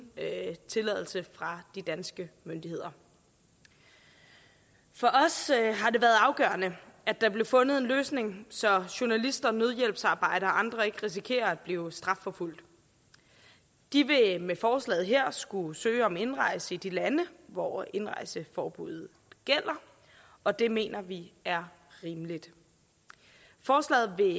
tilladelse fra de danske myndigheder for os har det været afgørende at der blev fundet en løsning så journalister nødhjælpsarbejdere og andre ikke risikerer at blive strafforfulgt de vil med forslaget her skulle søge om indrejse i de lande hvor indrejseforbuddet gælder og det mener vi er rimeligt forslaget